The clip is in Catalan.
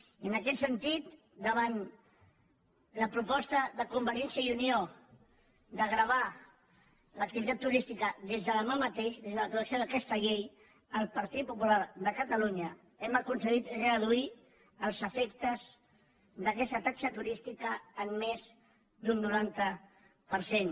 i en aquest sentit davant la proposta de convergència i unió de gravar l’activitat turística des de demà mateix des de l’aprovació d’aquesta llei el partit popular de catalunya hem aconseguit reduir els efectes d’aquesta taxa turística en més d’un noranta per cent